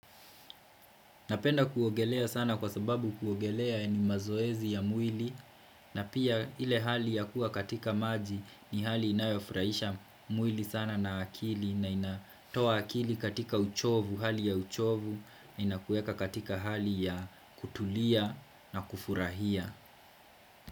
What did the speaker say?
Napenda kuogelea sana kwa sababu kuogelea ni mazoezi ya mwili na pia ile hali ya kuwa katika maji ni hali inayofurahisha mwili sana na akili na inatoa akili katika uchovu, hali ya uchovu na inakuweka katika hali ya kutulia na kufurahia.